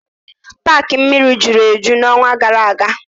Paaki mmiri juru eju n'ọnwa gara aga.